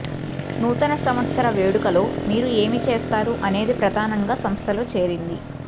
నూతన సంవత్సర వేడుకలో మీరు ఏమి చేస్తారు అనేది ప్రధానంగా సంస్థలో చేరింది